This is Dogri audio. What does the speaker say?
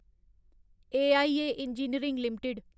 AIA engineering limited